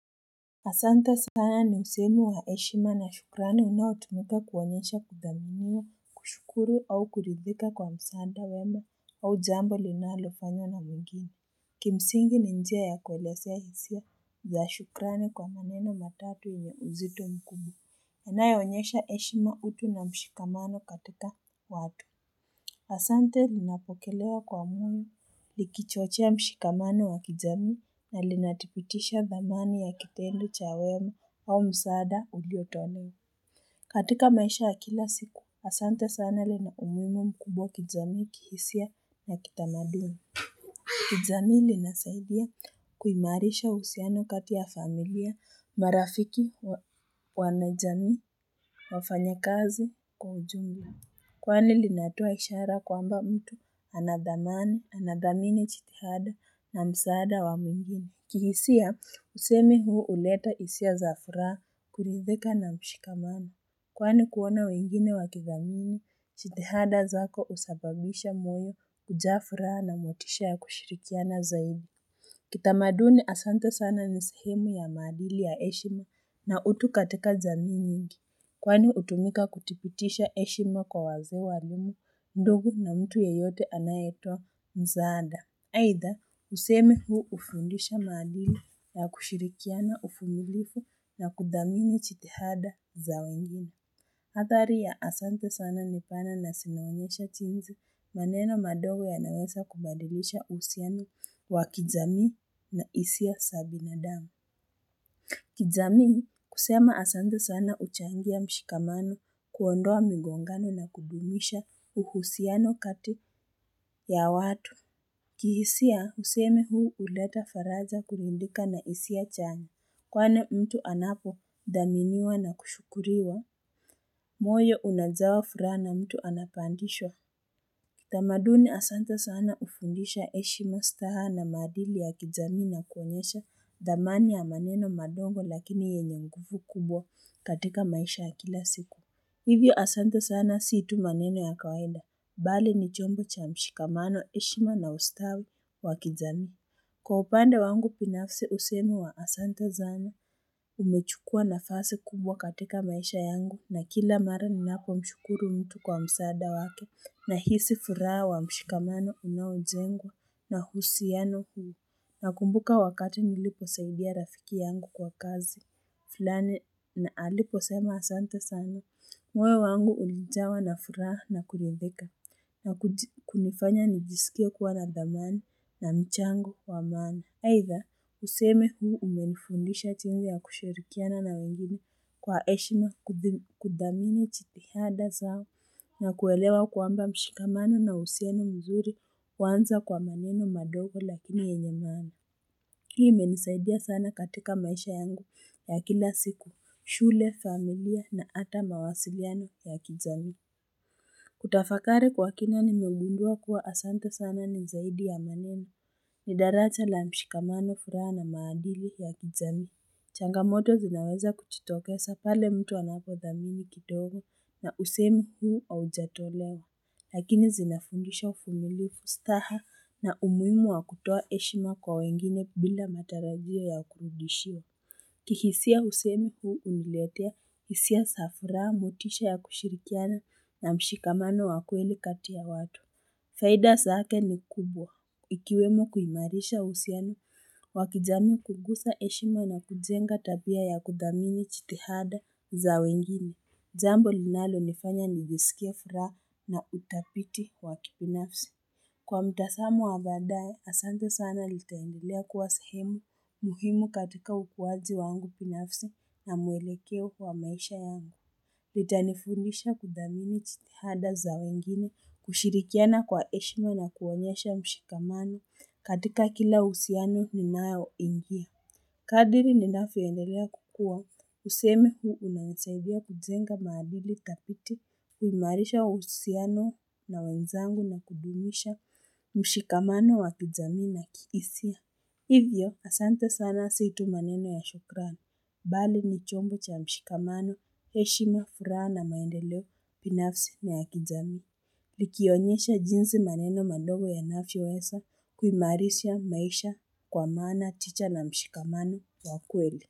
Asanta sana ni sehemu ya heshima na shukrani unaotumika kuonyesha kudhamiwa kushukuru au kuridhika kwa msaada wema au jambo linalofanya na mwengine. Kimsingi ni njia ya kuelezea hisia ya shukrani kwa maneno matatu yenye uzito mkubwa. Inayaonyesha heshima utu na mshikamano katika watu. Asante linapokelewa kwa mwini, likichochea mshikamano wa kijamii, na linathibitisha dhamani ya kitendo cha wema au msaada uliotolewa. Katika maisha ya kila siku, Asante sana linaumuhimu mkubwa kijamii, kihisia na kitamaduni. Kijamii linasahidia kuimarisha uhusiano katia familia marafiki, wanajamii, wafanya kazi kwa ujumla. Kwani linatoa ishara kwamba mtu anadhamana, anadhamini chitihada na msaada wa mwingine. Kihisia, usemi huu huleta hisia za furaha, kuridhika na mshikamano. Kwani kuona wengine wakidhamini, chitihada zako usababisha moyo kujaa furaha na motisha ya kushirikiana zaidi. Kitamaduni asante sana nisehemu ya maadili ya heshime na utu katika jamii nyingi. Kwani hutumika kuthibitisha heshima kwa wazee walimu, ndugu na mtu yeyote anayetoa msaada. Aidha, usemi huu hufundisha maadili ya kushirikiana uvumilivu na kudhamini chitihada za wengine. Hathari ya asante sana nipana na zinaonyesha jinsi maneno madogo ya naweza kubadilisha uhusiano wa kijamii na hisia za binadamu. Kijamii kusema asante sana huchangia mshikamano kuondoa migongano na kudumisha uhusiano kati ya watu. Kihisia husemi huu huleta faraja kulundika nahisia chanya kwani mtu anapo thaminiwa na kushukuriwa. Moyo unajaa furaha na mtu anapandishwa. Tamaduni asanta sana hufundisha heshima staha na maadili ya kijamii na kuonyesha dhamani ya maneno madogo lakini yenye nguvu kubwa katika maisha ya kila siku. Hivyo asanta sana si tu maneno ya kawaida, bali ni chombo cha mshikamano heshima na ustawi wa kijamii. Kwa upande wangu binafsi usemi wa asanta sana umechukua nafasi kubwa katika maisha yangu na kila mara ninapo mshukuru mtu kwa msaada wake nahisi furaha wa mshikamano unaojengwa na uhusiano huu. Nakumbuka wakati nilipo saidia rafiki yangu kwa kazi fulani na alipo sema asante sana. Moyo wangu ulijawa na furaha na kuridhika, na kunifanya nijisikie kuwa nadhamani na mchango wa maana. Aidha, useme huu umenifundisha jinsi ya kushirikiana na wengine kwa heshima kuthamini jitihada zao. Na kuelewa kwamba mshikamano na uhusiano mzuri huanza kwa maneno madogo lakini yenye maana. Hii imenisaidia sana katika maisha yangu ya kila siku, shule familia, na hata mawasiliano ya kijamii. Kutafakari kwa kina nimegundua kuwa asante sana ni zaidi ya maneno ni daraja la mshikamano, furaha na maadili ya kijamii. Changamoto zinaweza kujitokeza pale mtu anapo dhamini kitogo na usemi huu au ujatolewa. Lakini zinafundisha uvumilivu staha na umuhimu wa kutoa heshima kwa wengine bila matarajio ya kurudishiwa. Kihisia usemi huu huniletea hisia za furaha motisha ya kushirikiana na mshikamano wa kweli kati ya watu. Faida zake ni kubwa. Ikiwemo kuimarisha uhusiano, wa kijamii kugusa heshima na kujenga tabia ya kudhamini jitihada za wengine. Jambo linalo nifanya ni jisikie furaha na utafiti wa kibinafsi. Kwa mtazamo wa baadae, asante sana litaendelea kuwa sehemu muhimu katika ukuwaji wangu binafsi na mwelekeo wa maisha yangu. Litanifundisha kuthamini jitihada za wengine kushirikiana kwa heshima na kuonyesha mshikamano katika kila uhusiano ninayo ingia Kadiri ninavyo endelea kukua kusemi huu unanisaidia kujenga maadili tafiti kuimarisha uhsiano na wenzangu na kudumisha mshikamano wa kijamii na kihisia. Hivyo asante sana si tu maneno ya shukrani, bali ni chombo cha mshikamano, heshima, furaha na maendeleo, binafsi ni ya kijamii. Likionyesha jinsi maneno mandogo yanavyo weza kuimarisha maisha kwa maana, chicha na mshikamano ya kweli.